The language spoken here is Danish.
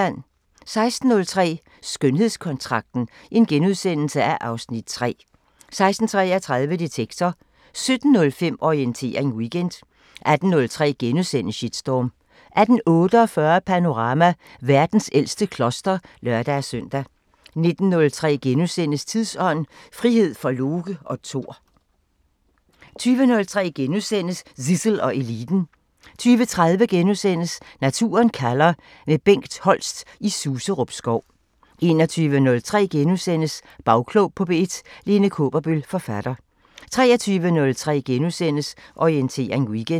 16:03: Skønhedskontrakten (Afs. 3)* 16:33: Detektor 17:05: Orientering Weekend 18:03: Shitstorm * 18:48: Panorama: Verdens ældste kloster (lør-søn) 19:03: Tidsånd: Frihed for Loke og Tor * 20:03: Zissel og Eliten * 20:30: Naturen kalder – med Bengt Holst i Suserup Skov * 21:03: Bagklog på P1: Lene Kaaberbøl, forfatter * 23:03: Orientering Weekend *